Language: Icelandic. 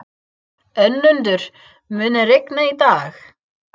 Önundur, mun rigna í dag?